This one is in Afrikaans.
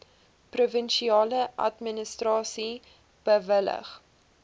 provinsiale administrasie bewillig